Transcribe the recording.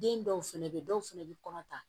Den dɔw fɛnɛ bɛ yen dɔw fɛnɛ bɛ kɔnɔ ta